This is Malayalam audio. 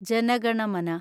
ജന ഗണ മന